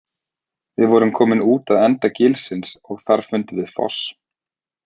Við vorum komin út að enda gilsins, og þar fundum við foss.